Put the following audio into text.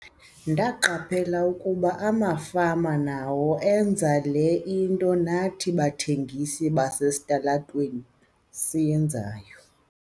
"Ndaqaphela ukuba amafama nawo enza le nto nathi bathengisi basesitalatweni sasiyenza."